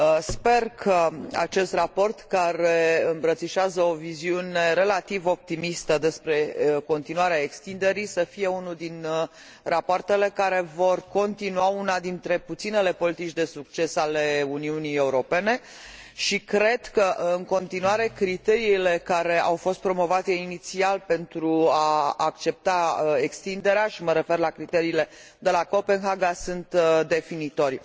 Sper ca acest raport, care îmbrățișează o viziune relativ optimistă despre continuarea extinderii, să fie unul dintre rapoartele care vor continua una dintre puținele politici de succes ale Uniunii Europene și cred că, în continuare, criteriile care au fost promovate inițial pentru a accepta extinderea și mă refer la criteriile de la Copenhaga sunt definitorii.